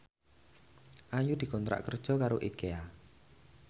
Ayu dikontrak kerja karo Ikea